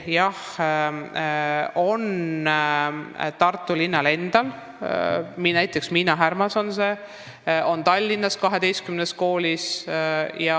Jah, on ka Tartu linnas, näiteks Miina Härma Gümnaasiumis, ja on Tallinnas 12 koolis.